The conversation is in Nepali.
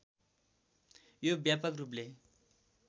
यो व्यापक रूपले